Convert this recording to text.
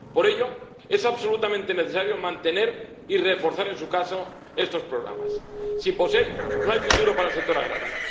Por ello, es absolutamente necesario mantener, y reforzar, en su caso, estos programas sin POSEI, no hay futuro para el sector agrario.